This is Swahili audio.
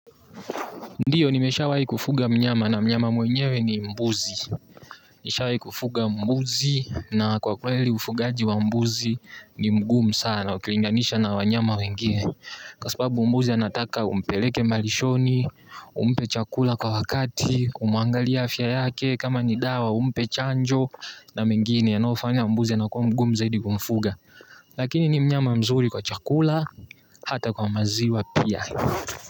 Ndiyo nimeshawahi kufuga mnyama na mnyama mwenyewe ni mbuzi. Nishawahi kufuga mbuzi na kwa kweli ufugaji wa mbuzi ni mgumu sana ukilindanisha na wanyama wengine. Kwa sababu mbuzi anataka umpeleke malishoni, umpe chakula kwa wakati, umuangalie afya yake kama nidawa umpe chanjo na mengine yanayofanya mbuzi na kwa mgumu zaidi kumfuga. Lakini ni mnyama mzuri kwa chakula hata kwa maziwa pia.